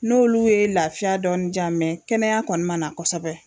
N'olu ye lafiya dɔɔnin jiyan kɛnɛya kɔni ma na kosɛbɛ.